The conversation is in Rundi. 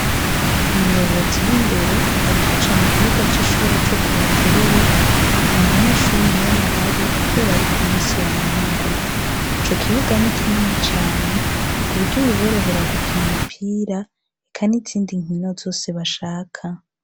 Umuyobozi w'indero arikaca mu kibuga c'ishuri co ku buterere nta munyeshuri n'umwe ahari, kubera ariku musi wa mungu ico kibuga ni ikinene cane ku buryo biborohera gukina umupira eka n'izindi nkino zose bashaka.